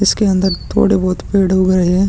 इसके अन्दर थोड़े बहोत पेड़ उग रहे है ।